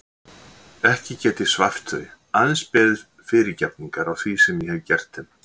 Ekki get ég svæft þau, aðeins beðist fyrirgefningar á því sem ég hef gert þeim.